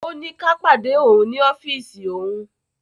Ọ́ ní ká pàdé ọ̀un ní ọ́fíìsì ọ̀un.